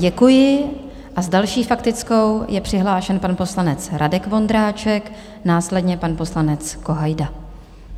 Děkuji a s další faktickou je přihlášen pan poslanec Radek Vondráček, následně pan poslanec Kohajda.